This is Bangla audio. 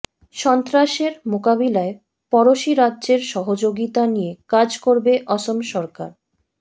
সন্ত্ৰাসের মোকাবিলায় পড়শি রাজ্যের সহযোগিতা নিয়ে কাজ করবে অসম সরকার